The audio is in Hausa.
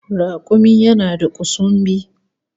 Rakumi yana da kusumbi